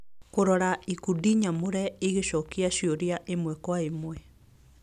Kũrora ikundi nyamũre igĩcokia ciũria ĩmwe kwa ĩmwe